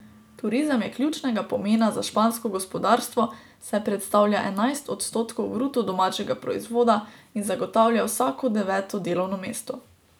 Turizem je ključnega pomena za špansko gospodarstvo, saj predstavlja enajst odstotkov bruto domačega proizvoda in zagotavlja vsako deveto delovno mesto.